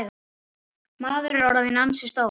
Maður var orðinn ansi stór.